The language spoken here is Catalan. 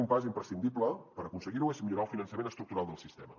un pas imprescindible per aconseguir ho és millorar el finançament estructural del sistema